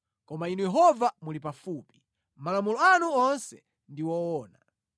Koma Inu Yehova muli pafupi, malamulo anu onse ndi woona.